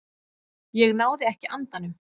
Ég náði ekki andanum.